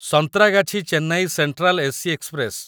Santragachi Chennai central AC express